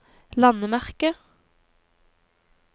landemerke